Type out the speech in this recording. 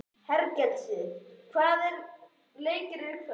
Hergils, hvaða leikir eru í kvöld?